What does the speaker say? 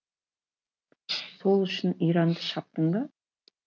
сол үшін иранды шаптың ба